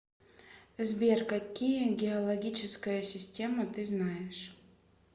сбер какие геологическая система ты знаешь